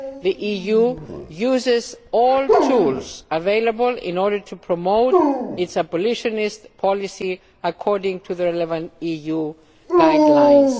The EU uses all tools available in order to promote its abolitionist policy according to the 11 EU guidelines.